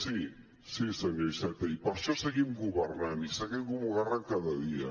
sí senyor iceta i per això seguim governant i seguim governant cada dia